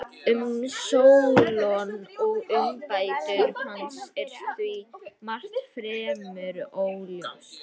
Um Sólon og umbætur hans er því margt fremur óljóst.